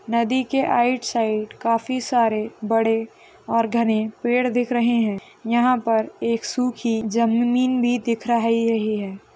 नदी के right side काफी सारे बड़े और घने पेड़ दिखा रहे है। यहाँ पर एक सुखी जमीन भी दिखाराइ रही है।